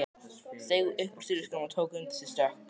Steig upp úr strigaskónum og tók undir sig stökk.